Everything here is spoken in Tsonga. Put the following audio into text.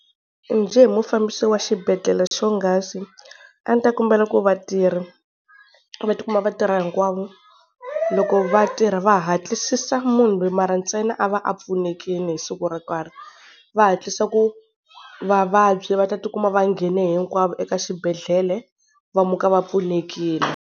Njhe hi mufambisi wa xibedhlele xo nghasi, a ndzi ta kombela ku vatirhi va tikuma va tirha hinkwavo, loko vatirhi va hatlisisa munhu loyi mara ntsena a va a pfunekile hi siku ro karhi va hatlisa ku vavabyi va ta tikuma va nghene hinkwavo eka xibedhlele va muka va pfunekile.